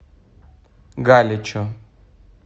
галичу